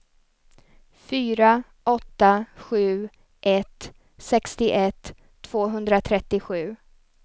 fyra åtta sju ett sextioett tvåhundratrettiosju